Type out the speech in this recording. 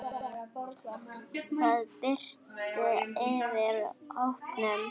Það birti yfir hópnum.